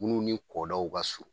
Minnu ni kɔdaw ka surun